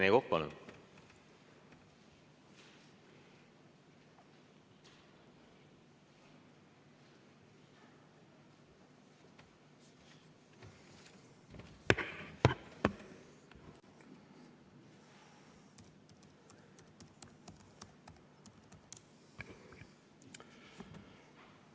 Rene Kokk, palun!